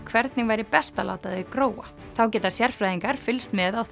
hvernig væri best að láta það gróa þá geta sérfræðingar fylgst með á